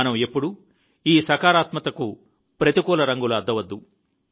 మనం ఎప్పుడూ ఈ సకారాత్మకతకు ప్రతికూల రంగులు అద్దవద్దు